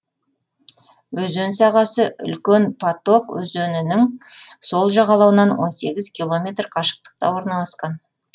өзен сағасы үлкен паток өзенінің сол жағалауынан он сегіз километр қашықтықта орналасқан